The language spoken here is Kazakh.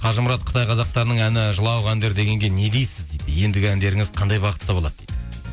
қажымұрат қытай қазақтарының әні жылауық әндер дегенге не дейсіз дейді ендігі әндеріңіз қандай бағытта болады дейді